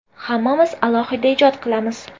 Hammamiz alohida ijod qilamiz.